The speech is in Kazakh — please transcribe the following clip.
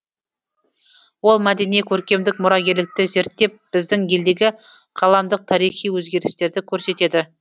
ол мәдени көркемдік мұрагерлікті зерттеп біздің елдегі ғаламдық тарихи өзгерістерді көрсетеді